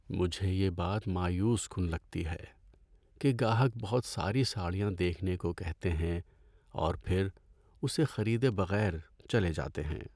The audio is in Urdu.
مجھے یہ بات مایوس کن لگتی ہے کہ گاہک بہت ساری ساڑیاں دیکھنے کو کہتے ہیں اور پھر اسے خریدے بغیر چلے جاتے ہیں۔